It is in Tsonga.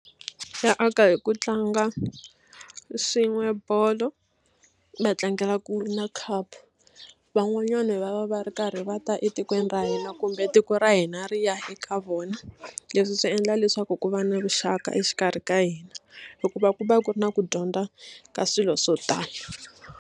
Ya aka hi ku tlanga swin'we bolo va tlangela ku wina cup van'wanyana va va va ri karhi va ta etikweni ra hina kumbe tiko ra hina ri ya eka vona leswi swi endla leswaku ku va na vuxaka exikarhi ka hina hikuva ku va ku ri na ku dyondza ka swilo swo tala.